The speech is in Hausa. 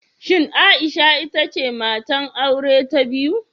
Shin Aisha ita ce matar aure ta biyu?